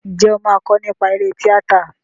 Ǹjẹ́ o máa kọ nípa eré tíátà?